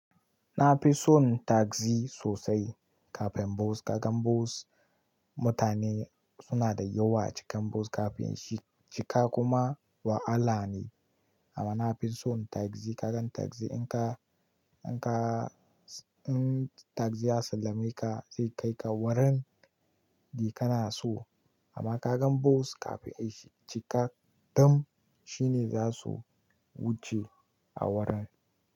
Na fi son taxi sosai kafin boss. Ka gan bos mutane suna da yawa a cikin bos kafin shi cika kuma wahala ne. Amma na fi son tagzi. Ka gan tagzi in ka, in tagzi ya sallame ka zai kai ka wurin da kana so. Amma ka gan bos kafin ai ya cika dam shi ne za su wuce a wurin.